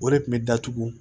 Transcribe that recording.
O de kun bɛ datugu